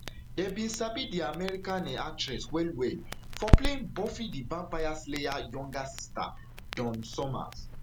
dem bin sabi um di american um actress wellwell for playing buffy di vampire slayer younger sister dawn summers